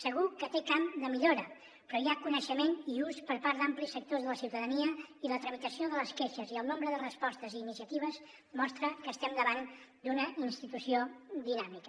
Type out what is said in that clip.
segur que té camp de millora però hi ha coneixement i ús per part d’amplis sectors de la ciutadania i la tramitació de les queixes i el nombre de respostes i iniciatives mostra que estem davant d’una institució dinàmica